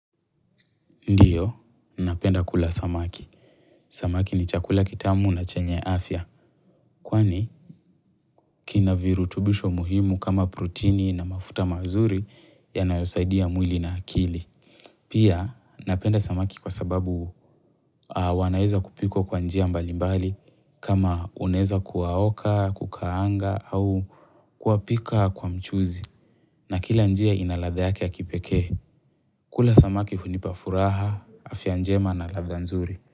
Ndiyo, napenda kula samaki. Samaki ni chakula kitamu na chenye afya. Kwani, kina virutubisho muhimu kama protini na mafuta mazuri yanayosaidia mwili na akili. Pia, napenda samaki kwa sababu wanaeza kupikwa kwa njia mbalimbali kama unaweza kuwaoka, kukaanga au kuwapika kwa mchuzi. Na kila njia ina ladha yake ya kipekee. Kula samaki hunipa furaha, afya njema na ladha nzuri.